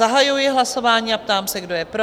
Zahajuji hlasování a ptám se, kdo je pro?